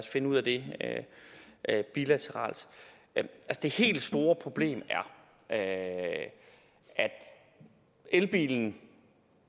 finde ud af det bilateralt det helt store problem er at elbilen